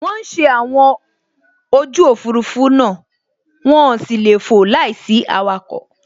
Wọ́n ń ṣe àwọn ojú Òfurufú náà, wọ́n sì lè fò láìsí awakọ̀